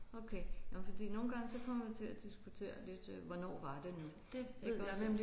Okay nåh men fordi nogle gange så kommer vi til at diskutere lidt hvornår var det nu iggås